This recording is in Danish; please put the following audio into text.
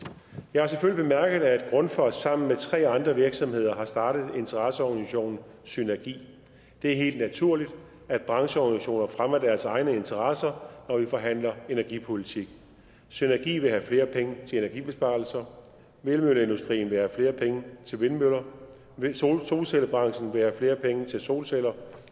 jeg har selvfølgelig bemærket at grundfos sammen med tre andre virksomheder har startet interesseorganisationen synergi det er helt naturligt at brancheorganisationer fremmer deres egne interesser når vi forhandler energipolitik synergi vil have flere penge til energibesparelser vindmølleindustrien vil have flere penge til vindmøller solcellebranchen vil flere penge til solceller